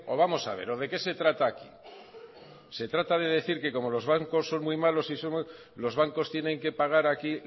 vamos a ver o de qué se trata aquí se trata de decir que como los bancos son muy malos y los bancos tienen que pagar aquí